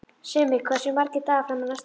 Simmi, hversu margir dagar fram að næsta fríi?